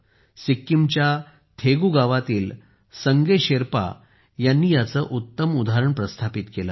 सिक्कीमच्या थेगू गावातील संगे शेरपा यांनी याचे उत्तम उदाहरण प्रस्थापित केले आहे